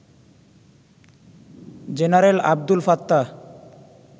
general Abdul Fattah